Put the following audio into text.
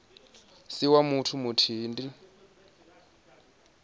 si wa muthu muthihi ndi